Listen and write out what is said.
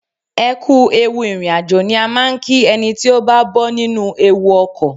Ẹ kú ewu ìrìn àjò ni a máa ń kí ẹni tí ó bá bọ́ nínú ewu ọkọ̀.